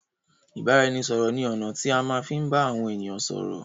Ìbáraẹnisọ̀rọ̀ ní ọ̀nà tí a fi má ń bá àwọn ènìyàn sọ́rọ́